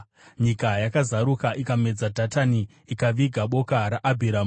Nyika yakazaruka ikamedza Dhatani; ikaviga boka raAbhiramu.